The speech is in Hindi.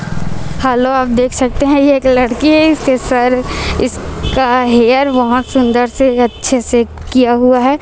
हैलो आप देख सकते है यह एक लड़की है इसके सर इसका हेयर बहोत सुंदर से अच्छे से किया हुआ हैं।